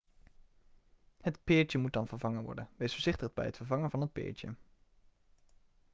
het peertje moet dan vervangen worden wees voorzichtig bij het vervangen van het peertje